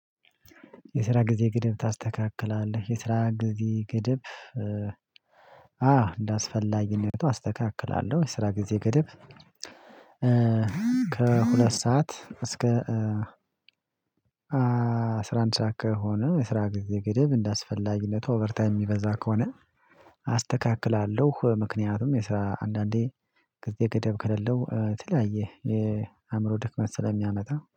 የስራ ጊዜ ግድብ ታስተካክላለህ የስራ ጊዜ ግድብ? አዎ እንዳስፈላጊነቱ አስተካክላለሁ የስራ ጊዜ ገደብ። ከሁለት ሰዓት እስከ አስራ አንድ ሰዓት ከሆነ የስራ ጊዜ ገደብ እንዳስፈላጊለት ኦቨርታይም የሚበዛ ከሆነ አስተካክላለሁ። ምክንያቱም የስራ አንዳንዴ ከዚህ ገደብ ከሌለው የተለያየ የአእምሮ ድክመት ስለሚያመጣ